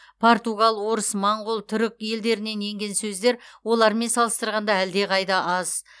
португал орыс моңғол түрік елдерінен енген сөздер олармен салыстырғанда әлдеқайда аз